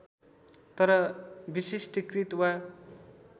तर विशिष्टीकृत वा